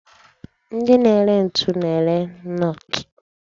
Ndi na-ere ntu na-ere nọọtụ